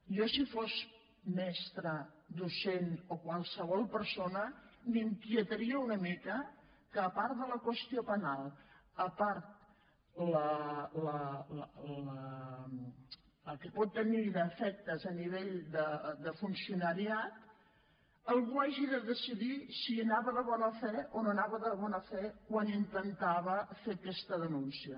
jo si fos mestra docent o qualsevol persona m’inquietaria una mica que a part de la qüestió penal a part del que pot tenir d’efectes a nivell de funcionariat algú hagi de decidir si anava de bona fe o no anava de bona fe quan intentava fer aquesta denúncia